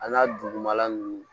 A n'a dugumala nunnu